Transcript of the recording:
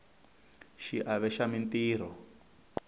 xiave xa mintirho